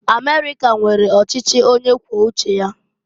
Amerika nwere ọchịchị onye kwuo uche ya.